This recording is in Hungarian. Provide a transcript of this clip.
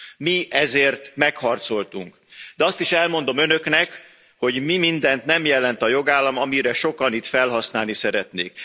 Mi ezért megharcoltunk, de azt is elmondom Önöknek, hogy mi mindent nem jelent a jogállam, amire sokan itt felhasználni szeretnék.